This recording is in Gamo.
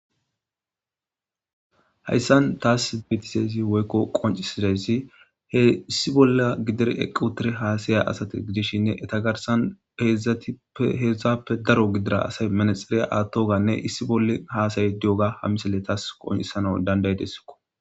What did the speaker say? Hayssan taas betisezi woykko qoncisidesi heissi bolla gidir equtire haasaya asati gidishshinne etagarsan peedzdzatippe heedzdzappe daro gidira asay manexeriya aattoganne issi bolle hasayi diyoga ha misile taas qoncisana dandaydessikko.